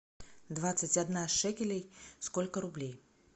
двадцать одна шекелей сколько рублей